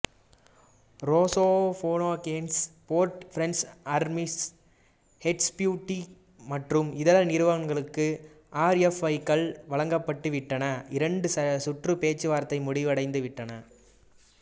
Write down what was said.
Rosoboronexport French Armouries HDW மற்றும் இதர நிறுவனங்களுக்கும் ஆர்எஃப்ஐக்கள் வழங்கப்பட்டு விட்டன இரண்டு சுற்று பேச்சு வார்த்தைகளும் முடிவடைந்து விட்டன